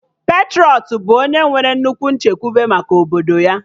Patrọịt bụ onye nwere nnukwu nchekwube maka obodo ya